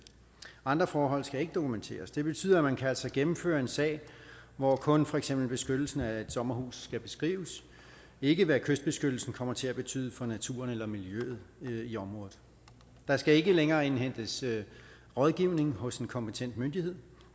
andre forhold skal ikke dokumenteres det betyder at man altså kan gennemføre en sag hvor kun for eksempel beskyttelsen af et sommerhus skal beskrives ikke hvad kystbeskyttelsen kommer til at betyde for naturen eller miljøet i området der skal ikke længere indhentes rådgivning hos en kompetent myndighed